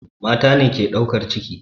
Mata ne ke ɗaukar ciki.